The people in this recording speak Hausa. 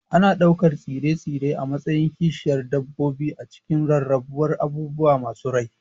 Ana ɗaukar tsire-tsire a matsayin kishiyar dabbobi a cikin rarrabuwar abubuwa masu rai.